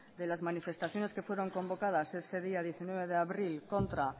de las manifestaciones que fueron convocadas ese día diecinueve de abril contra